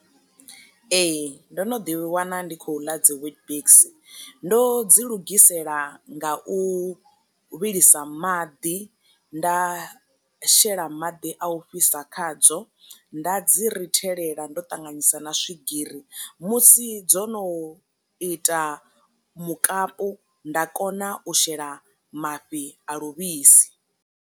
Ee ndo no ḓi wana ndi khou ḽa dzi weetbix, ndo dzi lugisela nga u vhilisa maḓi nda shela maḓi a u fhisa khadzo nda dzi rithelela ndo ṱanganyisa na swigiri musi dzo no ita mukapu nda kona u shela mafhi a luvhisi.